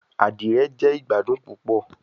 Adire jẹ igbadun pupọ